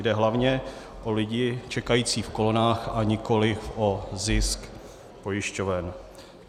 Jde hlavně o lidi čekající v kolonách, a nikoliv o zisk pojišťoven.